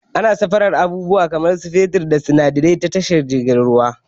Ana sufurun abubuwa kamar su fetur da sinadarai ta tashar jiragen ruwa